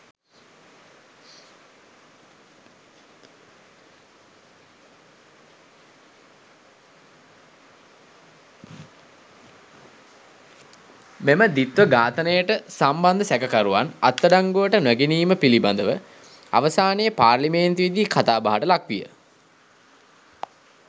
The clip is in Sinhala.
මෙම ද්විත්ව ඝාතනයට සම්බන්ධ සැකකරුවන් අත්අඩංගුවට නොගැනීම පිළිබඳව අවසානයේ පාර්ලිමේන්තුවේදී කතාබහට ලක් විය.